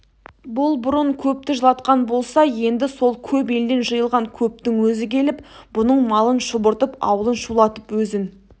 бұлбұрын көпті жылатқан болса енді сол көп елден жиылған көптің өзі келіп бұның малын шұбыртып аулын шулатып өзін